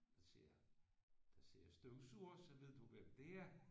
Der sælger der sælger støvsugere så ved du hvem det er